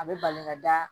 A bɛ bali ka da